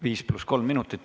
5 + 3 minutit.